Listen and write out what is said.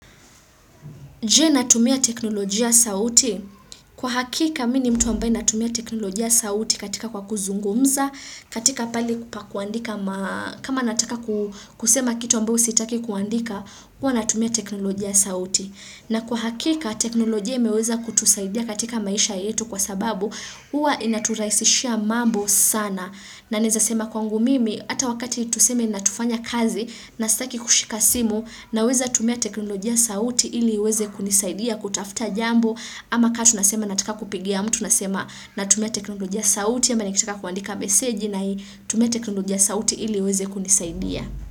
Je natumia teknolojia sauti? Kwa hakika mini mtu ambaye natumia teknolojia sauti katika kwa kuzungumza, katika pali kupa kuandika, kama nataka kusema kitu ambao sitaki kuandika, hua natumia teknolojia sauti. Na kwa hakika teknolojia imeweza kutusaidia katika maisha yetu kwa sababu hua inaturaisishia mambo sana. Na nezasema kwangu mimi ata wakati tuseme na tufanya kazi na saki kushika simu na weza tumia teknolojia sauti ili weze kunisaidia kutafta jambo. Ama ka tunasema nataka kupigia mtu nasema na tumia teknolojia sauti ama nikitaka kuandika meseji nai tumia teknolojia sauti ili weze kunisaidia.